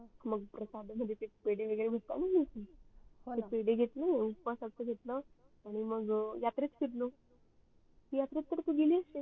मग प्रसाद मध्ये ते पेढे वगरे भेटतात न ते पेढे घेतले उपासाच घेतलं आणि मग यात्रेत फिरलो यात्रेत तर तू गेली असेल